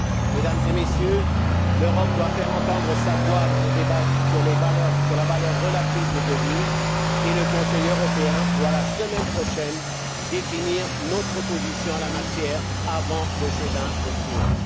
Mesdames et Messieurs, l'Europe doit faire entendre sa voix dans le débat sur la valeur relative des devises et le Conseil européen doit, la semaine prochaine, définir notre position en la matière avant le G20 de Séoul.